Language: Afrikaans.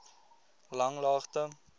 langlaagte